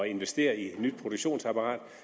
investere i nyt produktionsapparat